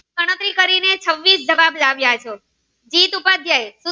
ગણતરી કરી ને છવ્વીસ જવાબ લાવ્યા ચો